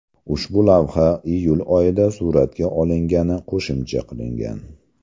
Ushbu lavha iyul oyida suratga olingani qo‘shimcha qilingan.